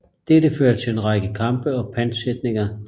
Dette førte til en række kampe og pantsætninger